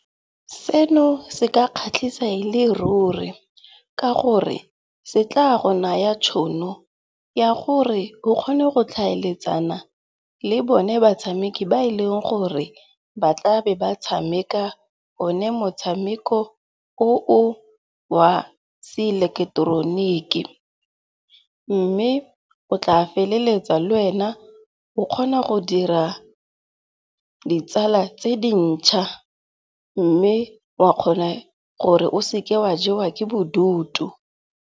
Seno se ka kgatlhisa e le ruri ka gore se tla go naya tšhono ya gore o kgone go tlhaeletsana le bone batshameki ba e leng gore ba tla be ba tshameka one motshameko o wa se eleketeroniki. Mme o tla feleletsa le wena o kgona go dira ditsala tse dintšha mme wa kgona gore o seke wa jewa ke bodutu.